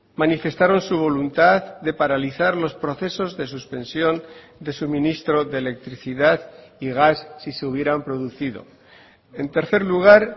manifestaron su voluntad de paralizar los procesos de suspensión de suministro de electricidad y gas si se hubieran producido en tercer lugar